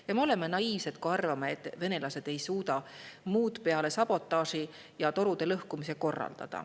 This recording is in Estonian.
Ja me oleme naiivsed, kui arvame, et venelased ei suuda korraldada muud peale sabotaaži ja torude lõhkumise.